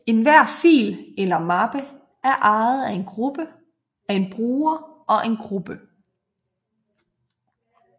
Enhver fil eller mappe er ejet af en bruger og en gruppe